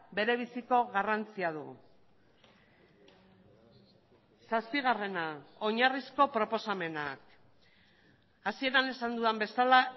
berebiziko garrantzia du zazpigarrena oinarrizko proposamenak hasieran esan dudan bezala